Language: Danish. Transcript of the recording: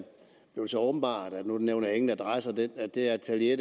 så åbenbaret nu nævner jeg ingen adresse at det atelier